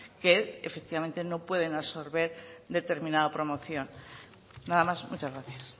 que efectivamente no pueden absorber determinada promoción nada más muchas gracias